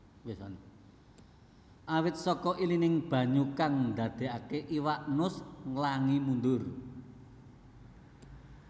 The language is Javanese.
Awit saka ilining banyu kang ndadékaké iwak nus nglangi mundur